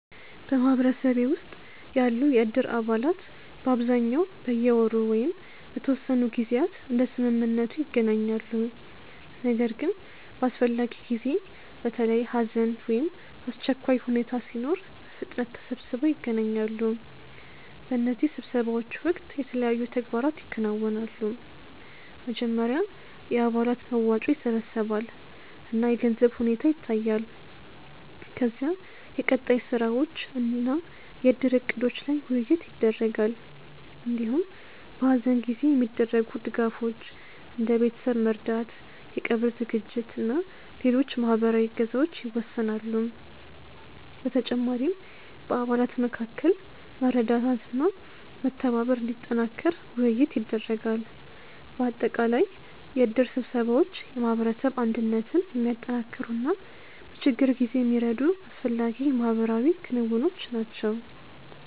በማህበረሰቤ ውስጥ ያሉ የእድር አባላት በአብዛኛው በየወሩ ወይም በተወሰኑ ጊዜያት እንደ ስምምነቱ ይገናኛሉ። ነገር ግን በአስፈላጊ ጊዜ፣ በተለይ ሐዘን ወይም አስቸኳይ ሁኔታ ሲኖር በፍጥነት ተሰብስበው ይገናኛሉ። በእነዚህ ስብሰባዎች ወቅት የተለያዩ ተግባራት ይከናወናሉ። መጀመሪያ የአባላት መዋጮ ይሰበሰባል እና የገንዘብ ሁኔታ ይታያል። ከዚያ የቀጣይ ስራዎች እና የእድር እቅዶች ላይ ውይይት ይደረጋል። እንዲሁም በሐዘን ጊዜ የሚደረጉ ድጋፎች፣ እንደ ቤተሰብ መርዳት፣ የቀብር ዝግጅት እና ሌሎች ማህበራዊ እገዛዎች ይወሰናሉ። በተጨማሪም በአባላት መካከል መረዳዳትና መተባበር እንዲጠናከር ውይይት ይደረጋል። በአጠቃላይ የእድር ስብሰባዎች የማህበረሰብ አንድነትን የሚያጠናክሩ እና በችግር ጊዜ የሚረዱ አስፈላጊ ማህበራዊ ክንውኖች ናቸው።